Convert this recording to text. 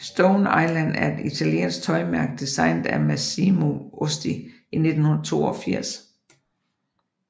Stone Island er et italiensk tøjmærke designet af Massimo Osti i 1982